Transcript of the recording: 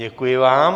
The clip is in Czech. Děkuji vám.